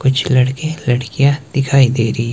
कुछ लड़के लड़कियां दिखाई दे रही--